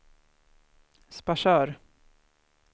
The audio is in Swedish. Sparsör